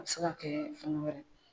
A bɛ se ka kɛɛ fɛn wɛrɛ